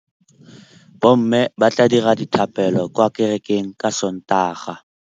Bommê ba tla dira dithapêlô kwa kerekeng ka Sontaga.